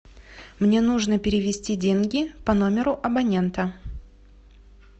мне нужно перевести деньги по номеру абонента